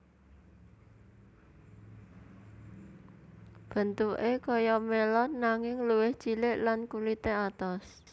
Bentuké kaya melon nanging luwih cilik lan kulité atos